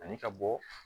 Ani ka bɔ